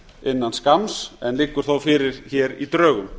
innan skamms en liggur þó fyrir hér í drögum